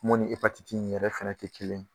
Mun ni in yɛrɛ fana tɛ kelen ye